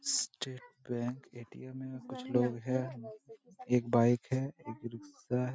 State Bank ATM. है। कुछ लोग है एक बाइक है एक रिक्शा है।